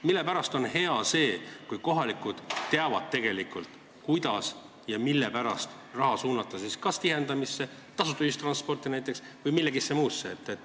Miks on hea see, kui kohalikud teavad, kuidas ja mille pärast raha suunata kas tihendamisse, tasuta ühistransporti või millessegi muusse.